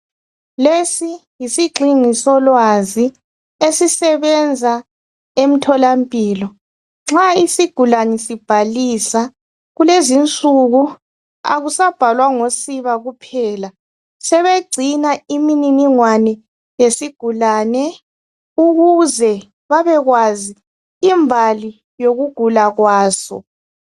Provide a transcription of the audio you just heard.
Lesi yisigxingi solwazi esisebenza emtholampilo nxa isigulane sibhalisa kulezinsuku akusabhalwa ngosiba kuphela sebegcina imininingwane yesigulani ukuze babekwazi imbali yokugula kwaso.